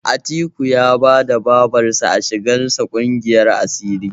Atiku ya bada Babarsa a shigar sa ƙungiyar asiri.